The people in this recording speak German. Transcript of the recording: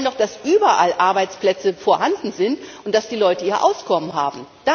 Wir wollen doch, dass überall Arbeitsplätze vorhanden sind und dass die Leute ihr Auskommen haben.